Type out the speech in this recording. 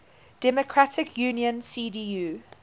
democratic union cdu